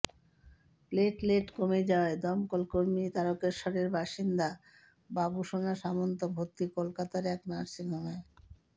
platelet কমে যাওয়ায় দমকল কর্মী তারকেশ্বরের বাসিন্দা বাবুসোনা সামন্ত ভরতি কলকাতার এক নার্সিংহোমে